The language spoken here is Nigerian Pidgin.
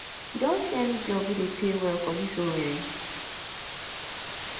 you don see any job wey dey pay well for dis owerri